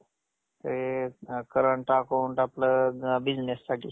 ते current account आपलं business साठी.